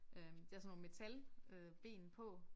Øh det er sådan nogle øh metalben på